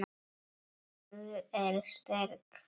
Sú er sterk, maður!